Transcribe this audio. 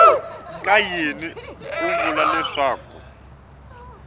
ka yini u vula leswaku